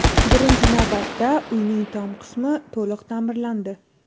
Birinchi navbatda uyning tom qismi to‘liq ta’mirlandi.